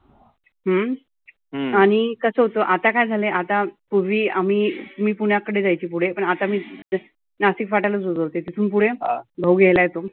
हम्म आणि कसं होतं आता काय झालय आता, पुर्वी आम्ही मी पुण्याकडे जायचे पुढे. पण आता मी नाशिक फाट्यालाच उतरते. तिथुन पुढे भाऊ घ्यायला येतो.